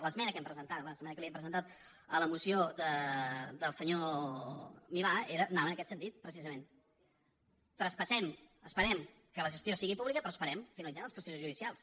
l’esmena que hem presentat l’esmena que hem presentat a la moció del senyor milà anava en aquest sentit precisament traspassem esperem que la gestió sigui pública però esperem finalitzem els processos judicials